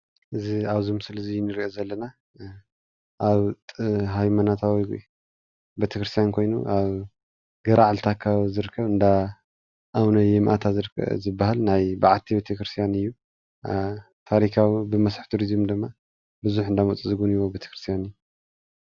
እዚ ኣብዚ ምስሊ እንሪኦ ዘለና ኣብ ሃይማኖታዊ ቤተክርስትያን ኮይኑ ኣብ ገራዓልታ ኣካባቢ ዝርከብ ኮይኑ እንደ ኣብነ ማኣንታ ዝባሃል ናይ በዓቲ ቤተክርስትያን እዩ፡፡ ታሪካዊ ብመስሕብ ቱሪዝም ድማ ቡዙሓት እንዳመፁ ዝግብንይዎ ቤተክርስትያን እዩ፡፡